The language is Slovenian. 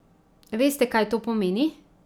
Veste, kaj to pomeni?